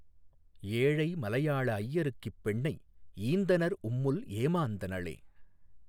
ஏழை மலையாள ஐயருக் கிப்பெண்ணை ஈந்தனர் உம்முல் ஏமாந்தனளே